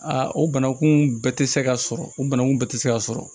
A o bananku bɛɛ tɛ se ka sɔrɔ o bananku bɛɛ tɛ se ka sɔrɔ